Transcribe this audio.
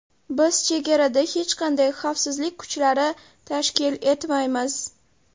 Biz chegarada hech qanday xavfsizlik kuchlari tashkil etmaymiz”.